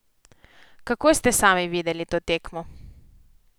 Kako ste sami videli to tekmo?